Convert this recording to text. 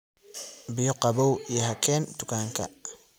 biyo qaboow ii ha keen tukanka